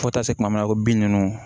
Fo taa se kuma min ma ko bin nunnu